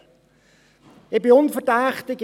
Ich bin unverdächtig: